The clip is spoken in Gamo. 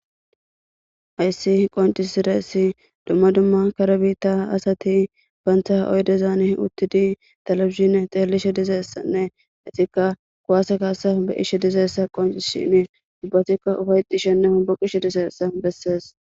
Hayssi qonci siress dumma dumma kare biitta asati baantaha oydezaan uttidi talabishine xeelishe dizeessanne ixikka kuwaase kaasa be ishe dizeessa qonci shine ubbatikka ufayxi shenne homboqishe diseessa bessees.